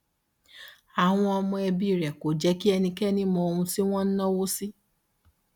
àwọn ọmọ ẹbí rẹ kò jẹ kí ẹnikẹni mọ ohun tí wọn ń náwó sí